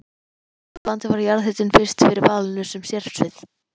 Hér á landi varð jarðhitinn fyrst fyrir valinu sem sérsvið.